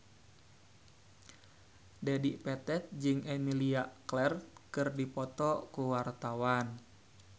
Dedi Petet jeung Emilia Clarke keur dipoto ku wartawan